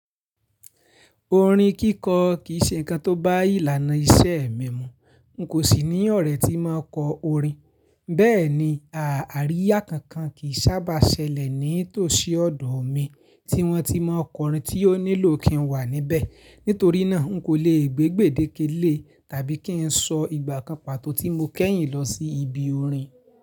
Orin kíkọ kì í ṣe nǹkan tó bá ìlànà iṣẹ́ ẹ̀mí mu. N kò sì ní ọ̀rẹ́ tí máa kọ orin. Bẹ́ẹ̀ni, ààríyá kankan kì í sábà ṣẹlẹ̀ ní tòsí ọ̀dọ̀ mi tí wọ́n ti máa kọ orin tí ó nílò kí n wà níbẹ̀. Nítorí náà, n kò lè gbé gbèdéke lé tàbí kí n sọ ìgbà kan pàtó tí mo kẹ́yìn lọ sí ibi orin.